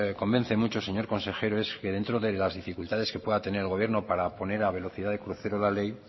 convence señor consejero es que dentro de las dificultades que pueda tener el gobierno para poner a velocidad de crucero la ley